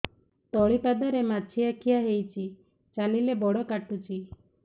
ତଳିପାଦରେ ମାଛିଆ ଖିଆ ହେଇଚି ଚାଲିଲେ ବଡ଼ କାଟୁଚି